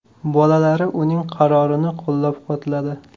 Bolalari uning qarorini qo‘llab-quvvatladi.